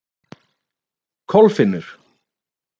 Kolfinnur